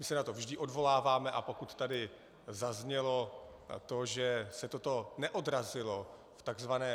My se na to vždy odvoláváme, a pokud tady zaznělo to, že se toto neodrazilo v tzv.